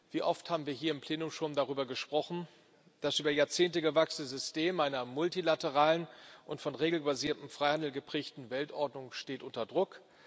Wie oft haben wir hier im Plenum schon darüber gesprochen Das über Jahrzehnte gewachsene System einer multilateralen und von regelbasiertem Freihandel geprägten Weltordnung steht unter Druck.